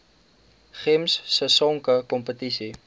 gems sisonke kompetisie